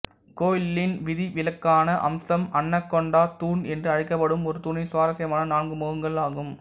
கோயிலின் விதிவிலக்கான அம்சம் அன்னகொண்டா தூண் என்று அழைக்கப்படும் ஒரு தூணின் சுவாரசியமான நான்கு முகங்கள் ஆகும்